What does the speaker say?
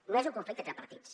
no és un conflicte entre partits